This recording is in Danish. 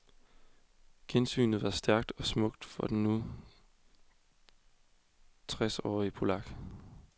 Gensynet var stærkt og smukt for den nu tresårige polak.